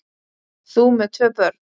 Þú með tvö börn!